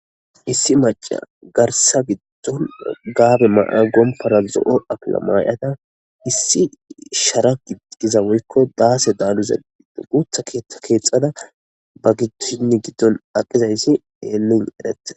Issi maca garsa giddon gaabe ma'a gompora zo'o apila maayada issi shara gigiza woykko daase daaniza guutha keeththa keexxada ba gitoshinni giddon aqizayssi nu erete.